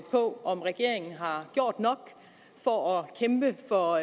på om regeringen har gjort nok for at kæmpe for